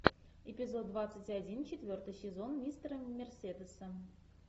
эпизод двадцать один четвертый сезон мистера мерседеса